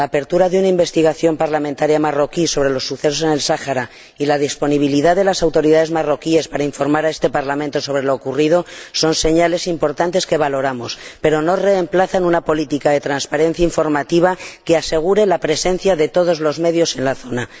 La apertura de una investigación parlamentaria marroquí sobre los sucesos del Sáhara y la disponibilidad de las autoridades marroquíes para informar a este Parlamento sobre lo ocurrido son señales importantes que valoramos, pero no remplazan una política de transparencia informativa que asegure la presencia de todos los medios en la zona.